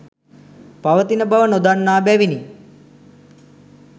පවතින බව නොදන්නා බැවිනි.